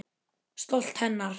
Stolt hennar.